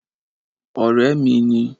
Ọ̀rẹ́ mi ni